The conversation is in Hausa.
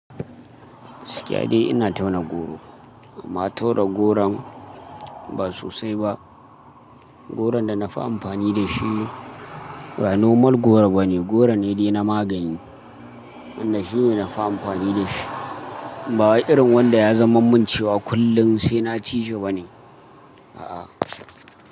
Gaskiya dai ina tauna goro amma tauna goron ba sosai ba. Goron da na fi amfani da shi ba nomal goro bane, goro ne dai na magani. Inda shine na fi amfani da shi. Ba wai irin wanda ya zama mun cewa kullum sai na ci shi bane. A'a.